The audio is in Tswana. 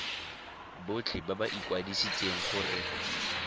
botlhe ba ba ikwadisitseng gore